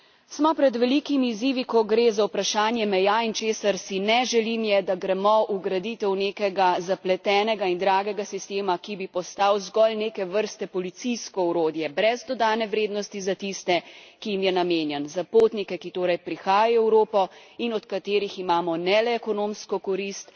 Smo pred velikimi izzivi, ko gre za vprašanje meja, in česar si ne želim, je, da gremo v graditev nekega zapletena in dragega sistema, ki bi postal zgolj neke vrste policijsko orodje, brez dodane vrednosti za tiste, ki jim je namenjen, za potnike, ki torej prihajajo v Evropo in od katerih imamo ne le ekonomsko korist.